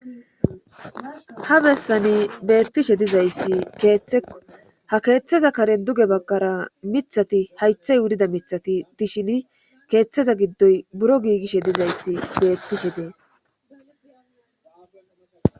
ha bessani beettishe dizayssi keeththekko ha keeththeza karen duge baggara mithati haythey wudida mithati dishini keeththeza giddoy buro giigishe dizayssi beettishe dees